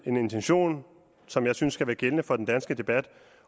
en intention som jeg synes skal være gældende for den danske debat